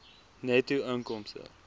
netto inkomste